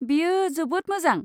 बेयो जोबोद मोजां!